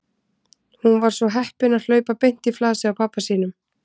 Hún var svo heppin að hlaupa beint í flasið á pabba sínum.